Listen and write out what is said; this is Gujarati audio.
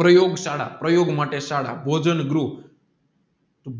પ્રયોગ શાળા પ્રયોગ માટે શાળા ભોજન ગૃહ